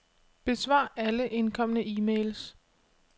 Besvar alle indkomne e-mails.